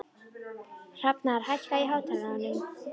Hrafnar, hækkaðu í hátalaranum.